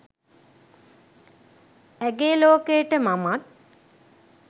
ඇගේ ලෝකයට මමත්